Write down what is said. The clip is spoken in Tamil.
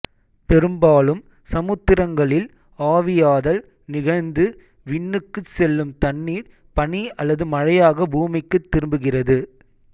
பெரும்பாலும் சமுத்திரங்களில் ஆவியாதல் நிகழ்ந்து விண்ணுக்குச் செல்லும் தண்ணீர் பனி அல்லது மழையாக பூமிக்குத் திரும்புகிறது